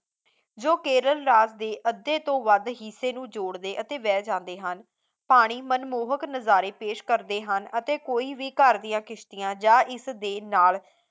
ਜੋ ਕੇਰਲ ਦੇ ਅੱਧੇ ਤੋਂ ਵੱਧ ਹਿੱਸੇ ਨੂੰ ਜੋੜਦੇ ਅਤੇ ਵਹਿ ਜਾਂਦੇ ਹਨ ਪਾਣੀ ਮਨਮੋਹਕ ਨਜ਼ਾਰੇ ਪੇਸ਼ ਕਰਦੇ ਹਨ ਅਤੇ ਕੋਈ ਵੀ ਘਰ ਦੀਆਂ ਕਿਸ਼ਤੀਆਂ ਜਾਂ ਇਸਦੇ ਨਾਲ